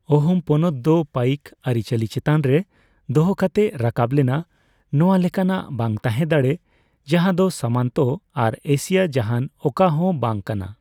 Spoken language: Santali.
ᱟᱦᱳᱢ ᱯᱚᱱᱚᱛ ᱫᱚ ᱯᱟᱭᱤᱠ ᱟᱹᱨᱤᱼᱪᱟᱹᱞᱤ ᱪᱮᱛᱟᱱ ᱨᱮ ᱫᱚᱦᱚ ᱠᱟᱛᱮᱜ ᱨᱟᱠᱟᱵ ᱞᱮᱱᱟ, ᱱᱚᱣᱟ ᱞᱮᱠᱟᱱᱟᱜ ᱵᱟᱝ ᱛᱟᱦᱮᱸᱱ ᱫᱟᱲᱮ ᱡᱟᱡᱟᱸᱫᱚ ᱥᱟᱢᱚᱱᱛᱚ ᱟᱨ ᱮᱥᱤᱭᱟ ᱡᱟᱦᱟᱸᱱ ᱚᱠᱟ ᱦᱚᱸ ᱵᱟᱝ ᱠᱟᱱᱟ ᱾